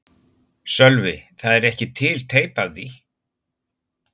Sölvi: Það er ekki til teip af því?